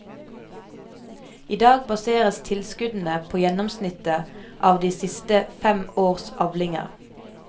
I dag baseres tilskuddene på gjennomsnittet av de siste fem års avlinger.